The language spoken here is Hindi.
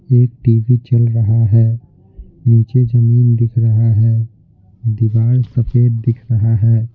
एक टी_वी चल रहा है नीचे जमीन दिख रहा है दीवार सफेद दिख रहा है।